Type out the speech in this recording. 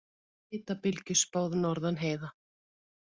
Hitabylgju spáð norðan heiða